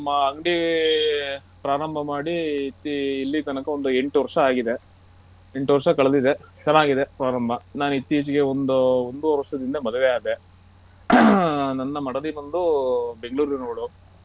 ಈಗ ನಮ್ಮ ಅಂಗ್ಡಿ ಪ್ರಾರಂಭ ಮಾಡಿ ಇಲ್ಲಿ ತನಕ ಒಂದು ಎಂಟು ವರ್ಷ ಆಗಿದೆ ಎಂಟು ವರ್ಷ ಕಳೆದಿದೆ ಚೆನ್ನಾಗಿದೆ ಪ್ರಾರಂಭ ನಾನ್ ಇತ್ತೀಚೆಗೆ ಒಂದು ಒಂದುವರೆ ವರ್ಷದಿಂದೆ ಮದ್ವೆ ಆದೇ ನನ್ನ ಮಡದಿ ಬಂದು Bangalore ನವಳು.